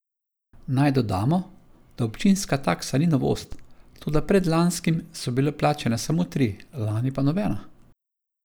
Naj dodamo, da občinska taksa ni novost, toda predlanskim so bile plačane samo tri, lani pa nobena.